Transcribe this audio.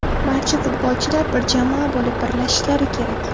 Barcha futbolchilar bir jamoa bo‘lib birlashishlari kerak.